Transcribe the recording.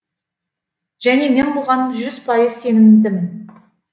және мен бұған жүз пайыз сенімдімін